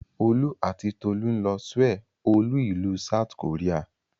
Olú àti Tolú ń lọ Souel olú-ìlú South Korea.